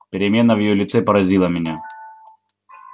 перемена в её лице поразила меня